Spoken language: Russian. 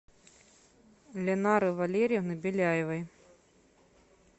линары валерьевны беляевой